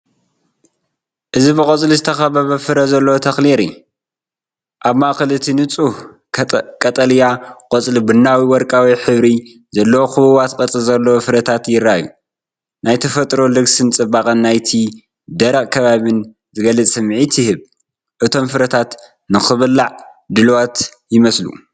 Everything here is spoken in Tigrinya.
እዚ ብቆጽሊ ዝተኸበበት ፍረ ዘለዎ ተክሊ የርኢ። ኣብ ማእከል እቲ ንጹህ ቀጠልያ ቆጽሊ ቡናዊ-ወርቃዊ ሕብሪ ዘለዎም ክቡባት ቅርጺ ዘለዎም ፍረታት ይረኣዩ። ናይ ተፈጥሮ ልግስን ጽባቐ ናይቲ ደረቕ ከባቢን ዝገልጽ ስምዒት ይህብ። እቶም ፍረታት ንኽብላዕ ድሉዋት ይመስሉ።